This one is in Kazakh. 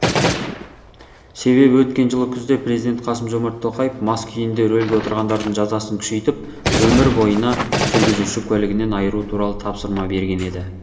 себебі өткен жылы күзде президент қасым жомарт тоқаев мас күйінде рөлге отырғандардың жазасын күшейтіп өмір бойына жүргізуші куәлігінен айыру туралы тапсырма берген еді